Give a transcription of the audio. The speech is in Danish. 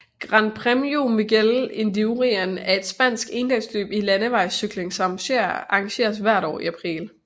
Gran Premio Miguel Indurain er et spansk endagsløb i landevejscykling som arrangeres hvert år i april